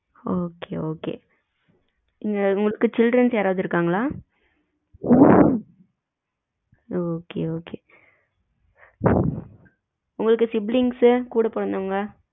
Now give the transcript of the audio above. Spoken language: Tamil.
okay, okay உங்களுக்கு childrens யாராவது இருக்கங்கள? okay, okay உங்களுக்கு sibilings கூட பிறந்தவங்க?